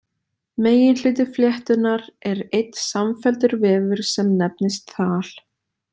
Meginhluti fléttunnar er einn samfelldur vefur sem nefnist þal.